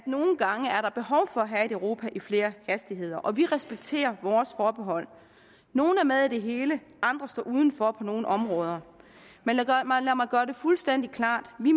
nogle gange er behov for at have et europa i flere hastigheder og vi respekterer vores forbehold nogle er med i det hele andre står udenfor på nogle områder men lad mig gøre det fuldstændig klart at vi